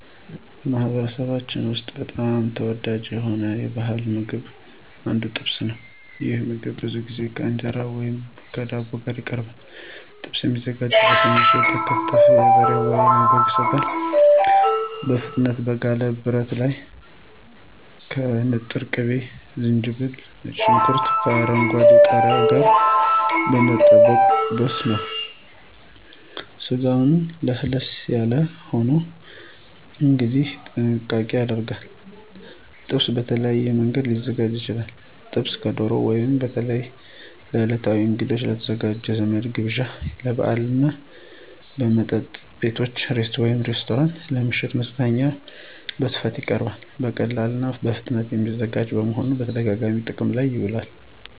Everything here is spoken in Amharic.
በማኅበረሰባችን ውስጥ በጣም ተወዳጅ ከሆኑት ባሕላዊ ምግቦች አንዱ ጥብስ ነው። ይህ ምግብ ብዙ ጊዜ ከእንጀራ ወይም ከዳቦ ጋር ይቀርባል። ጥብስ የሚዘጋጀው በትንንሽ የተከተፈ የበሬ ወይም የበግ ሥጋ በፍጥነት በጋለ ብረት ላይ ከንጥር ቅቤ፣ ዝንጅብል፣ ከነጭ ሽንኩርትና ከአረንጓዴ ቃሪያ ጋር በመጠበስ ነው። ስጋው ለስለስ ያለ ሆኖ እንዲቀርብ ጥንቃቄ ይደረጋል። ጥብስ በተለያዩ መንገዶች ሊዘጋጅ ይችላል። ጥብስ ከዶሮ ወጥ በተለይ ለዕለታዊ እንግዶች፣ ለወዳጅ ዘመድ ግብዣዎች፣ ለበዓላት እና በመጠጥ ቤቶች (ሬስቶራንቶች) ለምሽት መዝናኛዎች በስፋት ይቀርባል። በቀላሉና በፍጥነት የሚዘጋጅ በመሆኑ በተደጋጋሚ ጥቅም ላይ ይውላል።